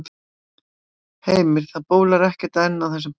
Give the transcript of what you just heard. Heimir, það bólar ekkert enn á þessum passa?